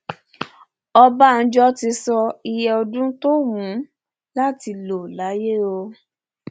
ọbánjọ ti sọ iye ọdún tó wù ú láti lò láyé o